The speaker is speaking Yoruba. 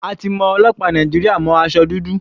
A ti mọ àwọn ọlọ́pàá Nàìjíríà mọ́ aṣọ dúdú.